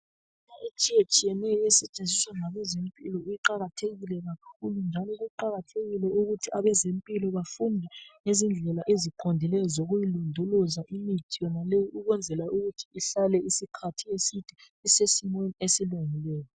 Imithi etshiya tshiyeneyo esetshenziswa ngabezempilo iqakathekile kakhulu njalo kuqakathekile ukuthi abezempilo bafunde ngezindlela eziqondileyo zokuyilondoloza imithi leyi. Ukwenzela ukuthi ihlale isikhathi eside isesiweni esilungileyo.